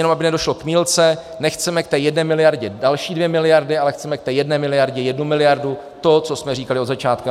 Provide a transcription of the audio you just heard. Jenom aby nedošlo k mýlce, nechceme k té jedné miliardě další dvě miliardy, ale chceme k té jedné miliardě jednu miliardu, to, co jsme říkali od začátku.